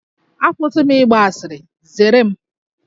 Akwụsị m ịgba asịrị, zere m!